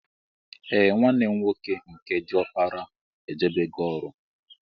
Ee nwanne mụ nwoke nke diọkpara ejebego ọrụ